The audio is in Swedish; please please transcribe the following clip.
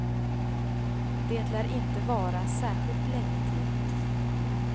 Det lär inte vara särskilt länge till.